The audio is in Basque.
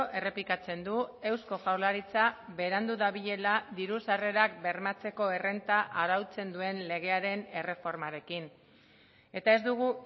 errepikatzen du eusko jaurlaritza berandu dabilela diru sarrerak bermatzeko errenta arautzen duen legearen erreformarekin eta ez dugu